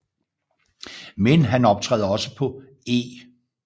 Men han optræder også på E